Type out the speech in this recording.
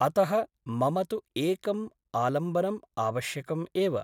अतः मम तु एकम् आलम्बनम् आवश्यकम् एव ।